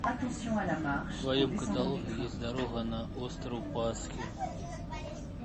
в твоем каталоге есть дорога на остров пасхи